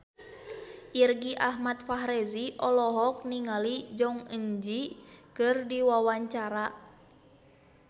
Irgi Ahmad Fahrezi olohok ningali Jong Eun Ji keur diwawancara